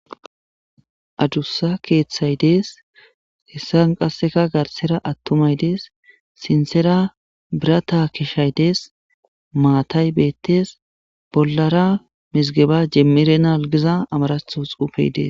Addussa keththay dees heysan qasseka athumay dees sinthera birthday keshay dees mathay bethes bollara mizgeba jemirenal gizza amaratho xuffe dees.